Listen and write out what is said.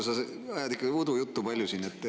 No Mario, sa ajad ikka udujuttu palju siin.